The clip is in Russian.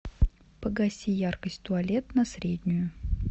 погаси яркость туалет на среднюю